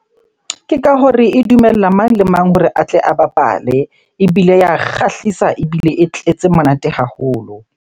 Ke ka hore e dumella mang le mang hore a tle a bapale ebile ya kgahlisa, ebile e tletse monate haholo.